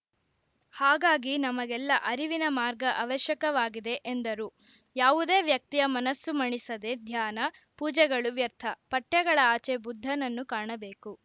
ಹಾಗಾಗಿ ನಮಗೆಲ್ಲ ಅರಿವಿನ ಮಾರ್ಗ ಅವಶ್ಯಕವಾಗಿದೆ ಎಂದರು ಯಾವುದೇ ವ್ಯಕ್ತಿಯ ಮನಸು ಮಣಿಸದೆ ಧ್ಯಾನ ಪೂಜೆಗಳು ವ್ಯರ್ಥ ಪಠ್ಯಗಳ ಆಚೆ ಬುದ್ದನನ್ನು ಕಾಣಬೇಕು